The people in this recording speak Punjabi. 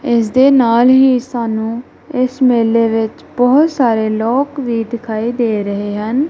ਇਸ ਦੇ ਨਾਲ ਹੀ ਸਾਨੂੰ ਇਸ ਮੇਲੇ ਵਿੱਚ ਬਹੁਤ ਸਾਰੇ ਲੋਕ ਵੀ ਦਿਖਾਈ ਦੇ ਰਹੇ ਹਨ।